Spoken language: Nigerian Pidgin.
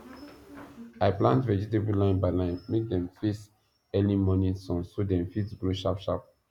i plant vegetable line by line make dem face early morning sun so dem fit grow sharp sharp